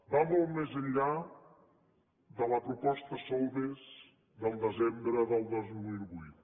va molt més enllà de la proposta solbes del desembre del dos mil vuit